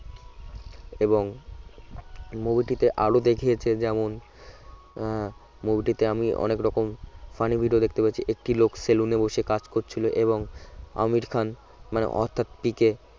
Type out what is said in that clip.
এবং movie টিতে আরও দেখিয়েছে যেমত আহ movie টিতে আমি অনেক রকম funny video দেখতে পেরেছি একটি লোক সেলুনে বসে কাজ করছিল এবং আমির খান মানে অর্থাৎ পিকে